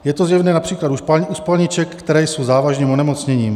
Je to zjevné například u spalniček, které jsou závažným onemocněním.